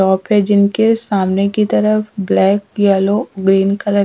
Top हैजिनके सामने की तरह ब्लैक येलो ग्रीन कलर .